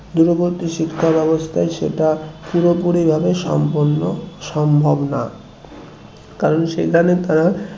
দূরবর্তী শিক্ষা ব্যাবস্থায় সেটা পুরোপুরি ভাবে সম্পন্ন সম্ভব না কারণ সেখানে তারা